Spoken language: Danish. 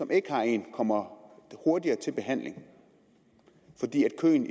ikke har en kommer hurtigere i behandling fordi køen